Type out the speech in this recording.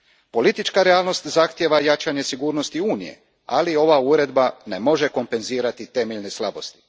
Politička realnost zahtijeva jačanje sigurnosti Unije, ali ova Uredba ne može kompenzirati temeljne slabosti.